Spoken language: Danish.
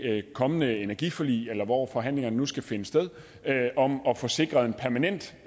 kommende energiforlig eller hvor forhandlingerne nu skal finde sted om at få sikret en permanent